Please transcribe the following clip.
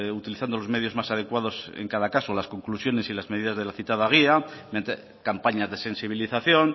utilizando los medios más adecuados en cada caso las conclusiones y las medidas de la citada guía campañas de sensibilización